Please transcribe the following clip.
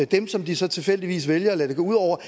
dem som de så tilfældigvis vælger at lade det gå ud over